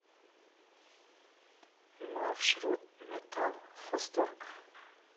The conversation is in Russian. маршрут металлхозторг